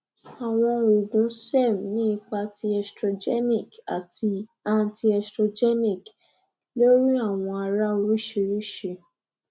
awọn oogun serm ni ipa ti estrogenic ati antiestrogenic lori awọn ara oriṣiriṣi